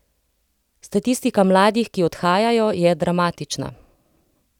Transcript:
Statistika mladih, ki odhajajo, je dramatična.